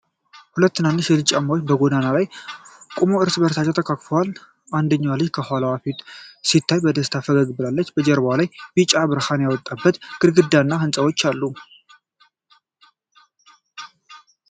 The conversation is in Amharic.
ሁለት ትናንሽ ልጆች በጨለማ ጎዳና ላይ ቆመው እርስ በእርስ ተቃቅፈዋል። አንደኛው ልጅ ከኋላው ፊቱ ሲታይ በደስታ ፈገግ ብሏል። ጀርባው ላይ ቢጫ ብርሃን የወጣበት ግድግዳ እና ሕንፃዎች አሉ።